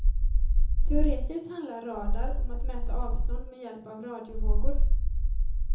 Teoretiskt handlar radar om att mäta avstånd med hjälp av radiovågor.